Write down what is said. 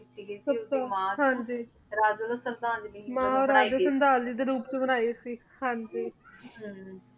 ਓੜੀ ਮਾਨ ਹਾਂਜੀ ਰਾਜਾ ਵਲੋਂ ਸ਼ਰਧਾਂਜਲੀ ਦੇ ਰੋਉਪ ਚ ਬਣਾਈ ਗਈ ਸੀ ਹਾਂਜੀ